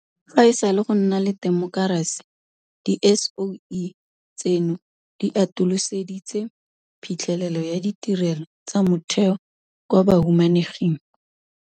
Fa e sale go nna le temokerasi, Di-SOE tseno di atoloseditse phitlhelelo ya ditirelo tsa motheo kwa bahumaneging.